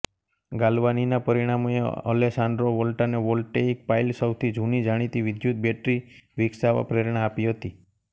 ગાલ્વાનીના પરિણામોએ અલેસાન્ડ્રો વોલ્ટાને વોલ્ટેઇક પાઇલસૌથી જૂની જાણીતી વિદ્યુત બેટરી વિકસાવવા પ્રેરણા આપી હતી